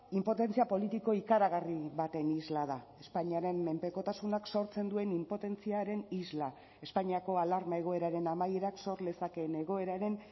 inpotentzia politiko ikaragarri baten isla da espainiaren menpekotasunak sortzen duen inpotentziaren isla espainiako alarma egoeraren amaierak sor lezakeen egoeraren